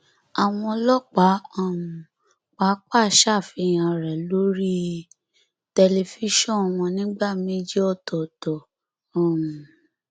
àwọn ọlọpàá um pàápàá ṣàfihàn rẹ lórí tẹlifíṣàn wọn nígbà méjì ọtọọtọ um